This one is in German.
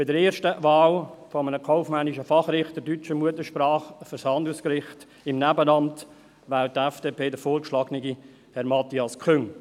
Bei der ersten Wahl eines kaufmännischen Fachrichters deutscher Muttersprache für das Handelsgericht im Nebenamt wählt die FDP den vorgeschlagenen Herrn Matthias Küng.